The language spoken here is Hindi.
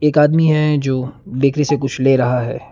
एक आदमी है जो बेकरी से कुछ ले रहा है।